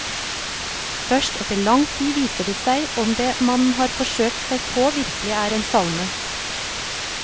Først etter lang tid viser det seg om det man har forsøkt seg på virkelig er en salme.